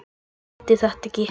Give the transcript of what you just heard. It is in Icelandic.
Skildi þetta ekki.